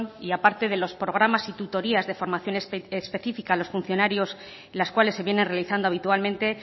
y aparte de los programas y tutorías de formación específica a los funcionarios en las cuales se viene realizando habitualmente